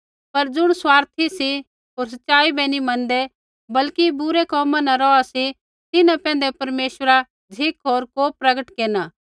पर ज़ुण स्वार्थी सी होर सच़ाई बै नी मनदै बल्कि बुरै कोमा न रौहा सी तिन्हां पैंधै परमेश्वरा झ़िक होर कोप प्रगट केरना